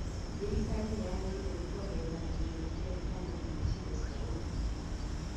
Thirikari nĩyagĩrĩirwo nĩ kuongera kĩgĩna kĩrĩa kĩamũrĩirwo icigo cia ũmbunge